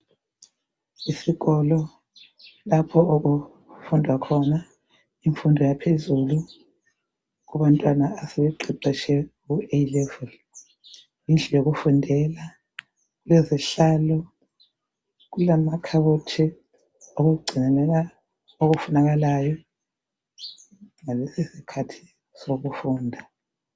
Isikolo lapho okufunda khona imfundo yaphezulu kubantwana asebeqeqetshile ku A level indlu yokufundela lezihlalo kulamakhaboti okugcinela okufunakalayo ngalesi skhathi sokufunda